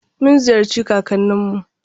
Mun ziyarci kakannin mu.